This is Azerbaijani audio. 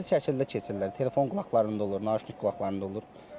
Diqqətsiz şəkildə keçirlər, telefon qulaqlarında olur, nakan qulaqlarında olur.